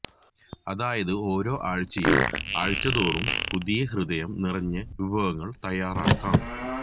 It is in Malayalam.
അതായത് ഓരോ ആഴ്ചയും ആഴ്ചതോറും പുതിയ ഹൃദയം നിറഞ്ഞ വിഭവങ്ങൾ തയ്യാറാക്കാം